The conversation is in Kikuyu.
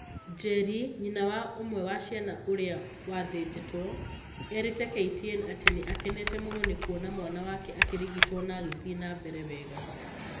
Njeri, nyina wa ũmwe wa ciana ũrĩa wathĩjĩtwo, erĩte KTN atĩ nĩ akenete mũno nĩ kuona mwana wake akĩrigitwo na agĩthiĩ na mbere wega.